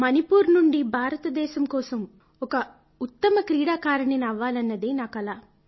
మణిపూర్ నుంచి భారతదేశం కోసం ఒక ఉత్తమ క్రీడాకారిణిని అవ్వాలన్నది నా కల